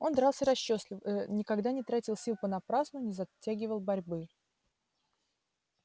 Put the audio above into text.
он дрался расчётливо никогда не тратил сил понапрасну не затягивал борьбы